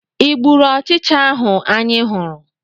ị gburu ọchịcha ahụ anyị hụrụ?